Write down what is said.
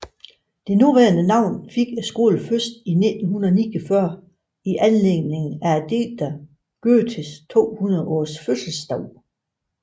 Det nuværende navn fik skolen først i 1949 i anledning af digteren Goethes 200 års fødselsdag